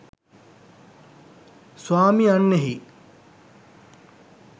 ස්වාමි යන්නෙහි